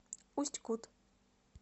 усть кут